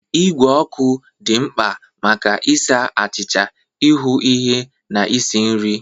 Igwe ọkụ dị mkpa maka ịsa achịcha, ịhu ihe na ịsi nri.